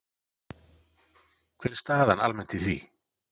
Hver er staðan almennt í því?